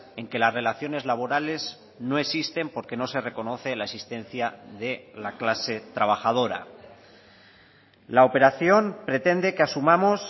en que las relaciones laborales no existen porque no se reconoce la existencia de la clase trabajadora la operación pretende que asumamos